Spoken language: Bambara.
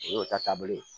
O y'o ta taabolo ye